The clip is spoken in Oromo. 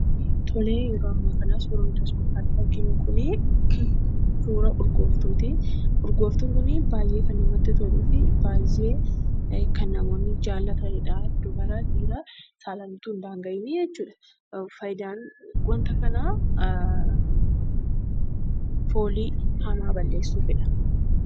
Yeroo ammaa kanaa suurri nuti as gubbaa irratti arginu Kun, suura urgooftuuti. Urgooftuun Kuni baayyee namatti kan toluu fi baayyee kan namoonni jaallataniidha. Dubara, dhiira saalaan osoo hin daanga'iin faayidaan waanta kanaa foolii hamaa balleessituufidha.